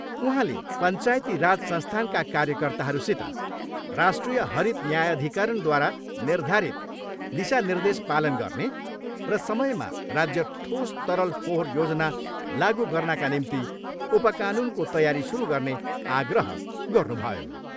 उहाँले पञ्चायती राज संस्थानका कार्यकर्ताहरूसित राष्ट्रिय हरित न्यायाधिकरणद्वारा निर्धारित दिशानिर्देश पालन गर्ने र समयमा राज्य ठोस् तरल फोहोर योजना लागु गर्नाका निम्ति उपकानुनको तयारी सुरु गर्ने आग्रह गर्नुभयो।